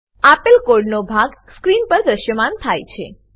આપેલ કોડનો ભાગ સ્ક્રીન પર દ્રશ્યમાન થાય છે